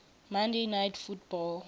monday night football